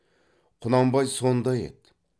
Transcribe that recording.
құнанбай сонда еді